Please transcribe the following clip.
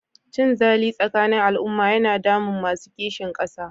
Cinzali tsakanin al'umma yana damun masu kishin ƙasa.